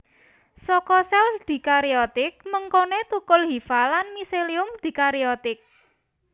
Saka sel dikariotik mengkoné tukul hifa lan miselium dikariotik